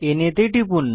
না তে টিপুন